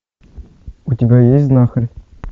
у тебя есть знахарь